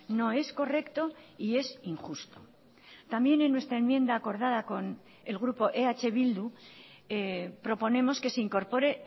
no es correcto y es injusto también en nuestra enmienda acordada con el grupo eh bildu proponemos que se incorpore